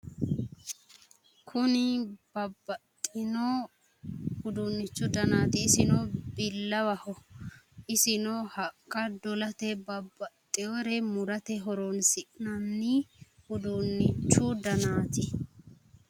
Kuni babbaxxitinno uduunnichu danaati isino billawaho isino haqqa dolate babbaxxeyoore murate horonsi'nanni uduunnichu danaati